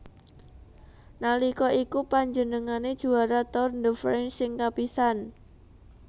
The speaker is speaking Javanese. Nalika iku panjenengane juara Tour de France sing kapisan